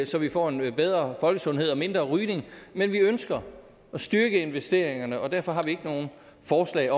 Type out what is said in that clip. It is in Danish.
så vi får en bedre folkesundhed og mindre rygning men vi ønsker at styrke investeringerne og derfor har vi ikke nogen forslag